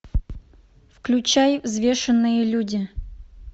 включай взвешенные люди